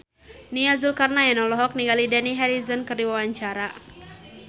Nia Zulkarnaen olohok ningali Dani Harrison keur diwawancara